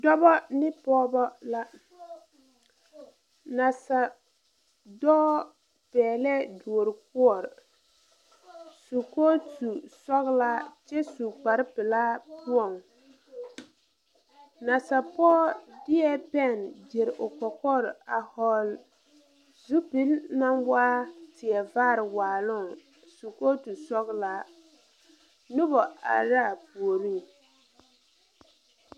Dɔbɔ ne pɔɔbɔ la nasadɔɔ pɛglɛɛ duorkɔɔre su kootu sɔglaa kyɛ su kpare pilaa o puoŋ nasapɔɔ dieɛ pɛn gyire o kɔkɔre a hɔɔl zupil naŋ waa teɛ vaare waaloŋ su kootu sɔglaa noba are raa puoriŋ.